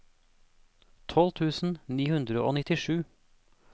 tolv tusen ni hundre og nittisju